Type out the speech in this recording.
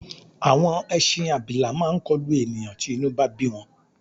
Àwọn ẹṣin abilà máa kọlù ènìyàn tí inú bá bí wọn.